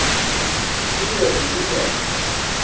o ile go di kwa